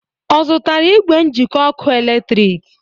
Ọ zụtara igwe njịkọ ọkụ eletrik?